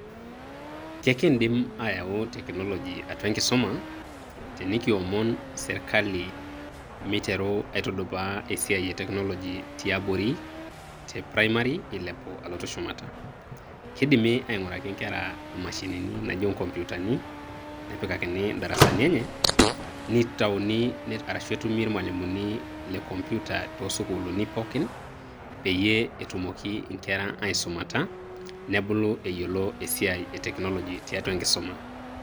Kekiidim ayau technology atua enkisuma, tenikiomon sirkali miteru aitudupaa esiai e technology tiabori. Te primary eilepu alotu shumata. Kidimi aing'uraki nkera imashinini naijo nkompitani, nepikakini idarasani enye, nitauni arashu etumi ilmalimuni le computer to sukuuluni pookin, peyie etumoki inkera aisumata, nebulu eyiolo esiai e technology tiatua enkisuma.